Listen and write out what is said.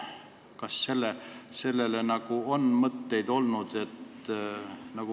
Kas selle kohta on mõtteid olnud?